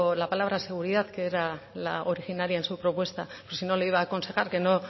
la palabra seguridad que era la originaria en su propuesta y si no le iba a aconsejar que no